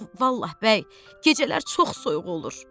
Vallah bəy, gecələr çox soyuq olur.